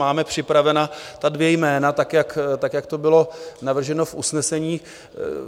Máme připravena ta dvě jména tak, jak to bylo navrženo v usnesení.